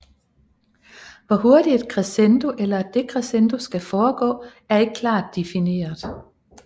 Hvor hurtigt et crescendo eller et decrescendo skal foregå er ikke klart difineret